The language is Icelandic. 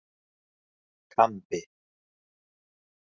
Kambi